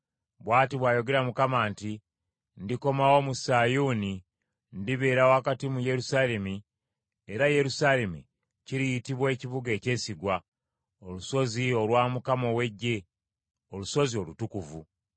Bw’ati bw’ayogera Mukama nti, “Ndikomawo mu Sayuuni, ndibeera wakati mu Yerusaalemi era Yerusaalemi kiriyitibwa ekibuga ekyesigwa, olusozi olwa Mukama ow’Eggye, Olusozi Olutukuvu.”